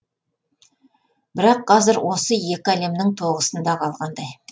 бірақ қазір осы екі әлемнің тоғысында қалғандай